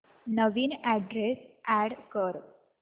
नवीन address add कर